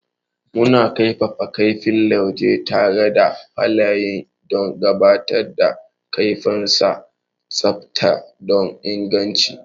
Mukan kaifafa kaifin lauje tare da fayil don tabbatar da kaifinnsa, tsafta da inganci.